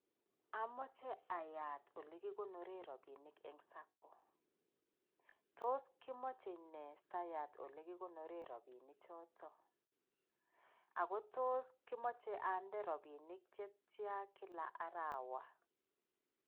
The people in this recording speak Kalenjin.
Omoche ayaat olekikonoren rabinik en sacco, tos kimoche nee siayat olekikonoren rabinichoton, akotos kimoche ande rabinik chetian kilak arawaa.